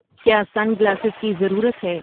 کیا sunglasses کی ضرورت ہے